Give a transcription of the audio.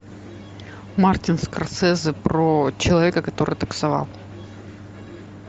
мартин скорсезе про человека который таксовал